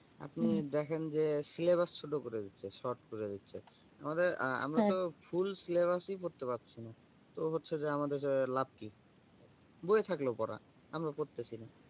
আপনি দেখেন যে syllabus ছোট করে দিচ্ছে short করে দিচ্ছে আহ আমাদের আমরা তো full syllabus ই পড়তে পারছিনা তো হচ্ছে যে আমাদের লাভ কি? বইয়ে থাকলো পড়া আমরা পারতেছিনা